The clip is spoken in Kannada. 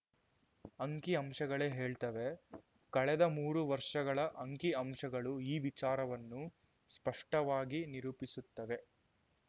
ಅಂಕಿಅಂಶಗಳೇ ಹೇಳ್ತವೆ ಕಳೆದ ಮೂರು ವರ್ಷಗಳ ಅಂಕಿ ಅಂಶಗಳು ಈ ವಿಚಾರವನ್ನು ಸ್ಪಷ್ಟವಾಗಿ ನಿರೂಪಿಸುತ್ತವೆ